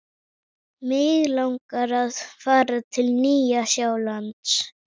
Mig langar að fara til Nýja-Sjálands.